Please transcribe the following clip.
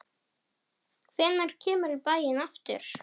Hvenær kemurðu í bæinn aftur?